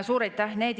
Suur aitäh!